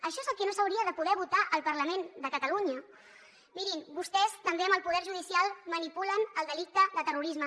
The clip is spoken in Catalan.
això és el que no s’hauria de poder votar al parlament de catalunya mirin vostès també amb el poder judicial manipulen el delicte de terrorisme